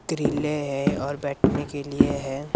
त्रिले है और बैठने के लिए है।